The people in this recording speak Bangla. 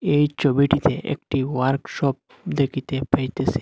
এই ছবিটিতে একটি ওয়ার্ক শপ দেখিতে পাইতেছি।